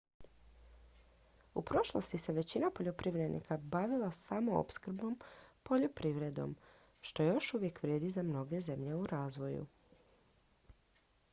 u prošlosti se većina poljoprivrednika bavila samoopskrbnom poljoprivredom što još uvijek vrijedi za mnoge zemlje u razvoju